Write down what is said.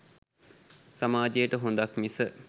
සමාජයට හොඳක්‌ මිස